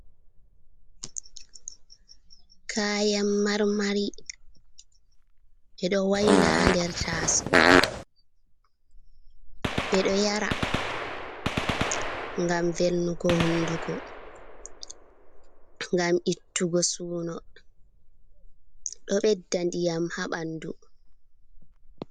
Kayan marmari ɓe ɗo wayla ha nder taso, ɓeɗo yara ngam velnugo hundugo, ngam ittugo suno, ɗo ɓedda ndiyam ha ɓandu.